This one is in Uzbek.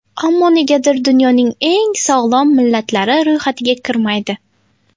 Ammo negadir dunyoning eng sog‘lom millatlari ro‘yxatiga kirmaydi.